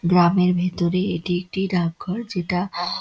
গ্রামের ভেতরে এটি একটি ডাক ঘর যেটা--